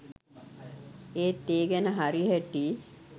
ඒත් ඒ ගැන හරි හැටි